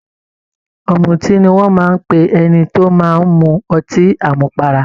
Ọ̀mùtí ni wọ́n ń pe ẹni tó máa ń mu ọtí àmupara.